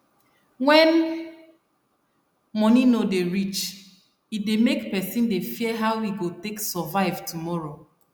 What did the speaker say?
when money no dey reach e dey make person dey fear how e go take survive tomorrow